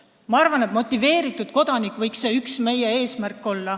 Ma arvan, et motiveeritud kodanik võiks olla üks meie eesmärke.